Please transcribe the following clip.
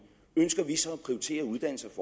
ønsker vi så at prioritere uddannelse